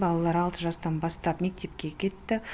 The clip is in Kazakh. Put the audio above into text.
балалар алты жастан бастап мектепке кетті